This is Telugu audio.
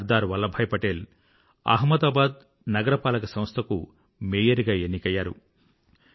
సర్దార్ వల్లభాయ్ పటేల్ అహ్మదాబాద్ నగరపాలక సంస్థకు మేయర్ గా ఎన్నికయ్యారు